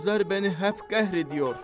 Bu sözlər məni həp qəhr edir.